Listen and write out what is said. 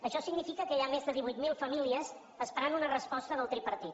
això significa que hi ha més de divuit mil famílies esperant una resposta del tripartit